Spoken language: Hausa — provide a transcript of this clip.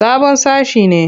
Sabon sashe ne.